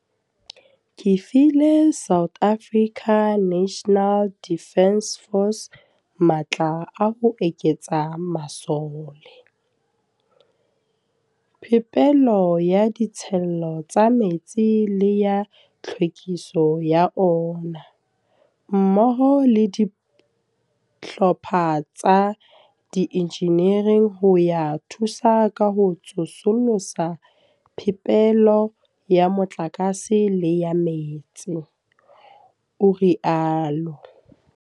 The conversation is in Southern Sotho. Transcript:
"Ke file SANDF matla a ho eketsa masole, phepelo ya ditshelo tsa metsi le ya tlhwekiso ya ona, mmoho le dihlopha tsa diinjinere ho ya thusa ka ho tsosolosa phepelo ya motlakase le ya metsi," o rialo.